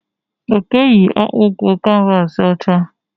Oke yi akpụkụ kanvasi ọcha